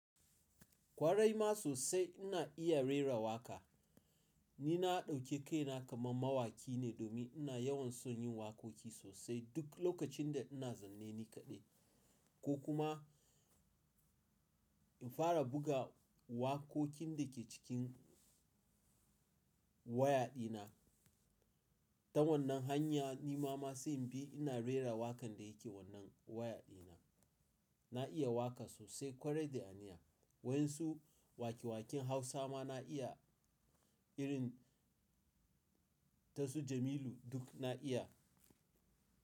Kwarai ma sosai ina iya rera waƙa. Ni na ɗauke kaina kamar mawaki ne domin ina yawan son yin waƙoƙi sosai duk lokacin da ina zaune ni kaɗai. Ko kuma in fara buga waƙoƙin da ke cikin waya dina. Ta wannan hanya ni ma sai inbi ina rera waƙan da yake wannan waya dina. Na iya waƙa sosai kwarai da aniya. Waɗansu waƙe-waƙen Hausa ma na iya irin tasu Jamilu duk na iya.